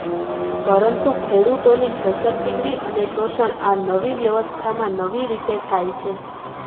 પરંતુ ખેડૂતોની છેતરપિંડી અને શોષણ આ નવી વ્યવસ્થામાં નવી રીતે થાય છે